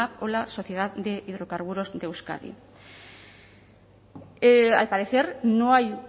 o la sociedad de hidrocarburos de euskadi al parecer no hay